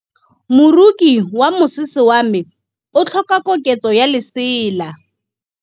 Moroki wa mosese wa me o tlhoka koketsô ya lesela.